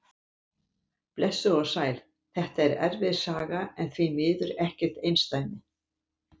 Blessuð og sæl, þetta er erfið saga en því miður ekkert einsdæmi.